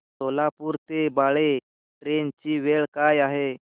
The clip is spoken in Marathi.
सोलापूर ते बाळे ट्रेन ची वेळ काय आहे